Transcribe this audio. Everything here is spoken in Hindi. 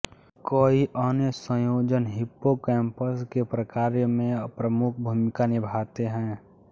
कई अन्य संयोजन हिप्पोकैम्पस के प्रकार्य में प्रमुख भूमिका निभाते हैं